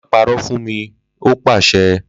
Ma parọ funmi ni o paṣẹ!